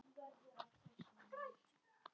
Og felldu saman hugi.